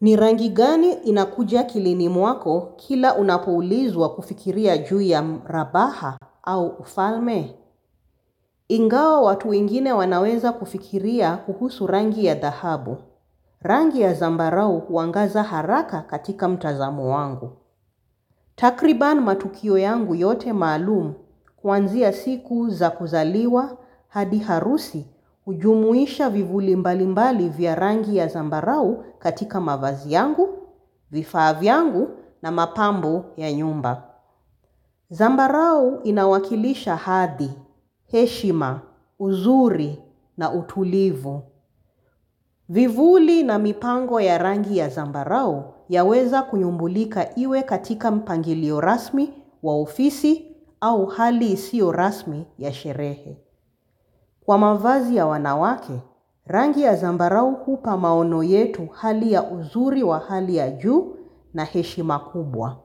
Ni rangi gani inakuja akilini mwako kila unapoulizwa kufikiria juu ya mrabaha au ufalme? Ingawa watu wengine wanaweza kufikiria kuhusu rangi ya dhahabu. Rangi ya zambarau huangaza haraka katika mtazamo wangu. Takriban matukio yangu yote maalumu. Kwanzia siku za kuzaliwa, hadi harusi, hujumuisha vivuli mbalimbali vya rangi ya zambarau katika mavazi yangu, vifaa vyangu na mapambo ya nyumba. Zambarau inawakilisha hadi, heshima, uzuri na utulivu. Vivuli na mipango ya rangi ya zambarau yaweza kunyumbulika iwe katika mpangilio rasmi wa ofisi au hali isio rasmi ya sherehe. Kwa mavazi ya wanawake, rangi ya zambarau hupa maono yetu hali ya uzuri wa hali ya juu na heshima kubwa.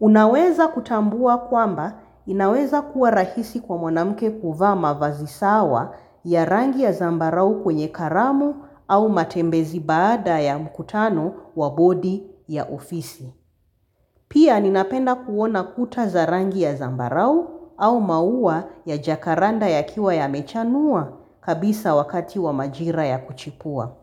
Unaweza kutambua kwamba inaweza kuwa rahisi kwa mwanamke kuvaa mavazi sawa ya rangi ya zambarau kwenye karamu au matembezi baada ya mkutano wa bodi ya ofisi. Pia ninapenda kuona kuta za rangi ya zambarau au maua ya jakaranda yakiwa yamechanua kabisa wakati wa majira ya kuchipua.